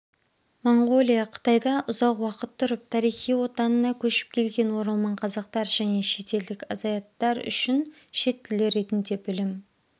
монғолия қытайда ұзақ уақыт тұрып тарихи отанына көшіп келген оралман қазақтар және шетелдік азаиаттар үшін шет тілі ретінде білім